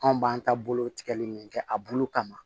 Anw b'an ta bolo tigɛli min kɛ a bulu kama